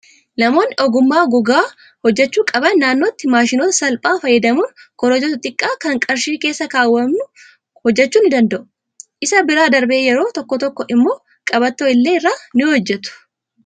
Namoonni ogummaa gogaa hojjachuu qaban naannootti maashinoota sasalphaa fayyadamuun korojoo xixiqqaa kan qarshii keessa kaawwannu hojjachuu ni danda'u. Isa bira darbee yeroo tokko tokko immoo qabatto illee irraa ni hojjatu.